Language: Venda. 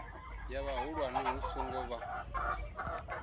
ya vhahulwane hu songo vha